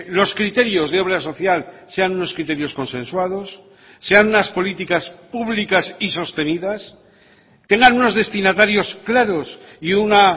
los criterios de obra social sean unos criterios consensuados sean unas políticas públicas y sostenidas tengan unos destinatarios claros y una